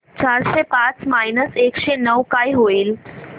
चारशे पाच मायनस एकशे नऊ काय होईल